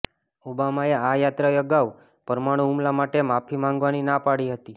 ઓબામાએ આ યાત્રા અગાઉ પરમાણું હુમલા માટે માફી માંગવાની ના પાડી હતી